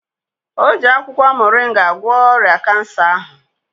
O ji akwụkwọ moringa gwọọ ọrịa Kansa ahụ.